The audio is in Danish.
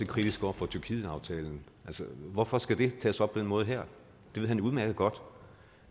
kritiske over for tyrkietaftalen hvorfor skal det tages op på den måde her det ved han udmærket godt